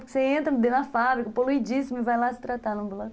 Porque você entra dentro da fábrica, poluidíssimo, e vai lá se tratar no ambulatório.